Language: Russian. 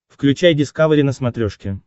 включай дискавери на смотрешке